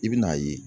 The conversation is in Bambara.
I bɛn'a ye